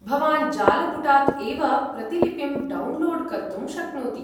भवान् जालपुटात् एव प्रतिलिपिं डौन्लोड् कर्तुं शक्नोति।